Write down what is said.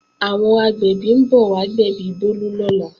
Àwọn agbẹ̀bí ń bọ̀ wá gbẹ̀bí Bólú lọ́la